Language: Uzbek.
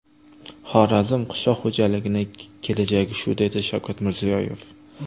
Xorazm qishloq xo‘jaligining kelajagi shu”, – dedi Shavkat Mirziyoyev.